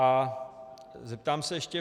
A zeptám se ještě.